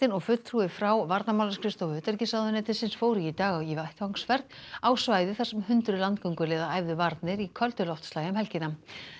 og fulltrúi frá varnarmálaskrifstofu utanríkisráðuneytisins fóru í dag í vettvangsferð á svæðið þar sem hundruð æfðu varnir í köldu loftslagi um helgina